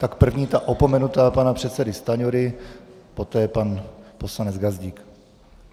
Tak první, ta opomenutá, pana předsedy Stanjury, poté pan poslanec Gazdík.